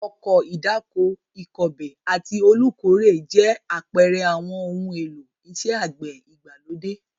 Ọkọ̀ ìdáko, ìkọbè àti olùkórè jẹ́ àpẹẹrẹ àwọn ohun èlò iṣẹ́ àgbẹ̀ ìgbàlódé.